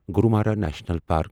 Gorumara national park